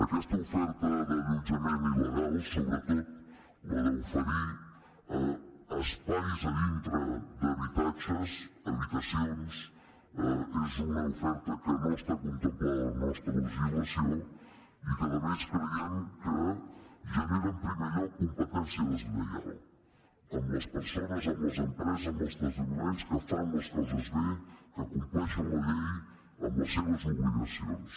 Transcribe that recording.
aquesta oferta d’allotjament il·legal sobretot la d’oferir espais dintre d’habitatges habitacions és una oferta que no està contemplada a la nostra legislació i que a més creiem que genera en primer lloc competència deslleial amb les persones amb les empreses amb els establiments que fan les coses bé que compleixen la llei amb les seves obligacions